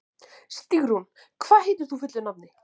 Stígrún, hvað heitir þú fullu nafni?